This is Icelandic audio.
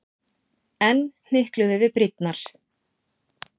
Enn hnykluðum við brýnnar.